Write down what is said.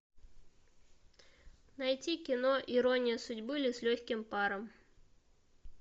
найти кино ирония судьбы или с легким паром